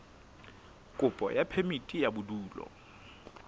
kopo ya phemiti ya bodulo